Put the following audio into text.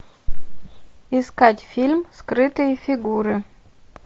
искать фильм скрытые фигуры